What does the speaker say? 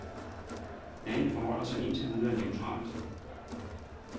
Landet forholder sig indtil videre neutralt.